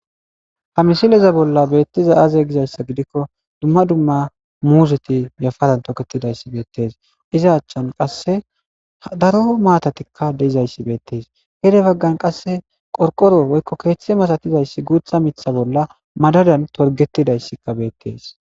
Ha misileza bolla beettiza aaze gizayssa gidikko dumma dumma muuzeti yafadan tokettidayssi beettees iza achchan qasse daro maatatikka deizayssi beettees heede baggan qasse qorqoro woykko keeththe masatizayssi guutha mitha bolla madadan torgetidayssikka beettees